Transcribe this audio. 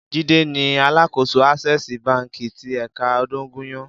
Jide ni àlákósó Asèsí bànkí ti èkà Odogunyan